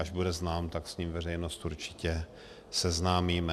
Až bude znám, tak s ním veřejnost určitě seznámíme.